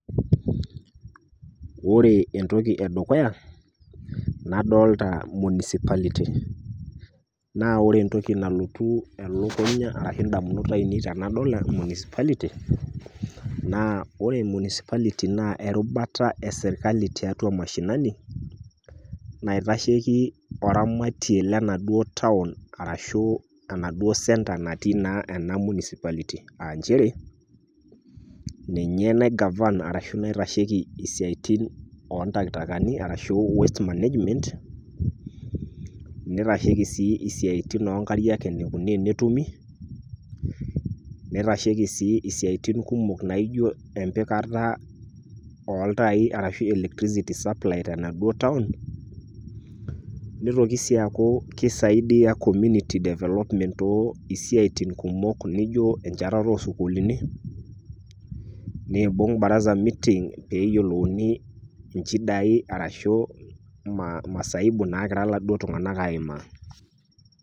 Ore entoki e dukuya nadolta municipality naa ore entoki nalotu elukunya arashe ndamunot ainei tenadol municipality naa ore municipality naa erubata e serkali tiatua mashinani naitasheki oramati lenaduo town arashu enaduo center natii naa ena municpality aa njere ninye nai govern ashu naitasheki esiai o ntaktakani arashu waste management, nitasheki sii isiaitin o nkariak enikoni enetumi, nitasheki sii siaitin kumok naijo empikata oltai arashu electricity supply tenaduo town, nitoki sii aaku kisaidia community development too siaitin kumok nijo enchatata o sukuulini, nbung' baraza meeting pee eyolouni inchidai arashu masaibu nagira laduo tung'anak aimaa.